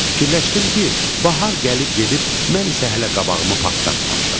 Fikirləşdim ki, bahar gəlib gedib, mən isə hələ qabağımı partlatmamışam.